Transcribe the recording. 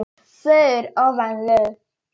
fögur ofan lög.